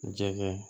Jɛgɛ